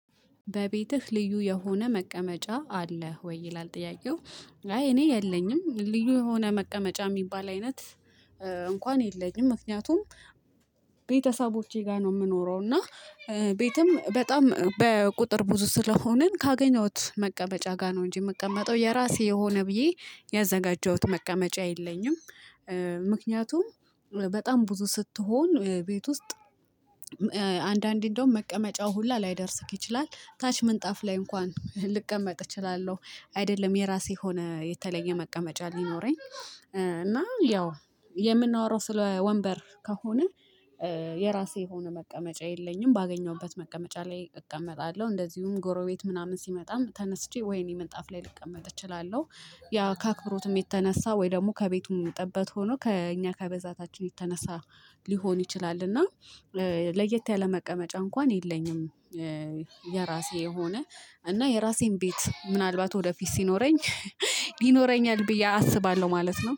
በቤትህ ልዩ የሆነ መቀመጫ አለህ ወይ ይላል ጥያቄው? አይ እኔ የለኝም ልዩ የሆነ መቀመጫ የሚባል አይነት እንኳን የለኝም ምክንያቱም ቤተሰቦቼ ጋር ነው የምኖረው እና ቤትም በጣም በቁጥር ብዙ ስለሆንን ካገኘሁት መቀመጫ ጋር ነው እንጂ የምቀመጠው የራሴ የሆነ ብዬ ያዘጋጀሁት መቀመጫ የለኝም። ምክንያቱም በጣም ብዙ ስትሆን ቤት ውስጥ አንዳንዴ እንደውም መቀመጫው ሁላ ላይደርስህ ይችላል ታች ምንጣፍ ላይ እንኳን ልቀመጥ እችላለሁ። አይደለም የራሴ ሆነ የተለየ መቀመጫ ሊኖረኝ እና ያው የምናወራው ስለ ወንበር ከሆነ የራሴ የሆነ መቀመጫ የለኝም። ባገኘሁበት መቀመጫ ላይ እቀመጣለሁ እንደዚሁም ጎረቤት ምናምን ሲመጣም ተነስቼ ወይኔ ምንጣፍ ላይ ልቀመጥ እችላለሁ። ያ ከአክብሮትም የተነሳ ወይ ደግሞ ከቤቱም ጥበት ሆኖ ከእኛ ከብዛታችን የተነሳ ሊሆን ይችላል እና። ለየት ያለ መቀመጫ እንኳን የለኝም። የራሴ የሆነ እና የራሴን ቤት ምናልባት ወደፊት ሲኖረኝ ይኖረኛል ብዬ አስባለሁ ማለት ነው